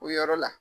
O yɔrɔ la